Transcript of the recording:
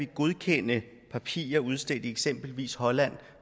godkende papirer udstedt i eksempelvis holland